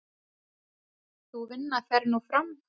Sú vinna fer nú fram.